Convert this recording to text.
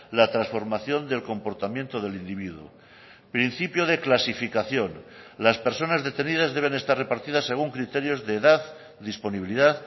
la transformación del comportamiento del individuo principio de clasificación las personas detenidas deben estar repartidas según criterios de edad disponibilidad